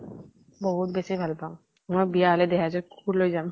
বহুত বেছি ভাল পাওঁ। মোৰ বিয়া হলে দেহেজত কুকুৰ লৈ যাম।